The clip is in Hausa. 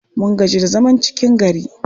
Mun gaji da zaman cikin gari.